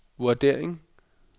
vurdering